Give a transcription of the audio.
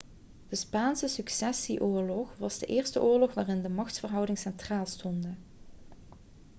de spaanse successieoorlog was de eerste oorlog waarin de machtsverhoudingen centraal stonden